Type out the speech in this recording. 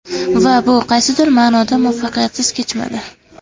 Va bu qaysidir ma’noda muvaffaqiyatsiz kechmadi.